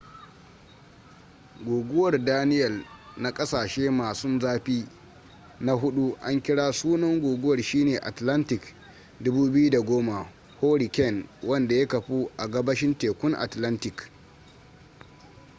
guguwar daniell na kasashe masun zafi na hudu an kira sunan guguwar shine atlantic 2010 hurricane wanda ya kafu a gabashin tekun atlantic